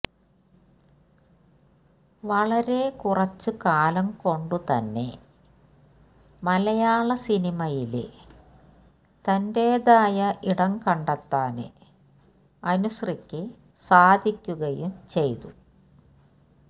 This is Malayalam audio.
വളരെ കുറച്ചുകാലം കൊണ്ടുതന്നെ മലയാള സിനിമയില് തന്റേതായ ഇടം കണ്ടെത്താന് അനുശ്രീക്ക് സാധിക്കുകയും ചെയ്തു